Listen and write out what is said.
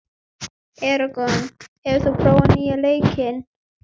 Eragon, hefur þú prófað nýja leikinn?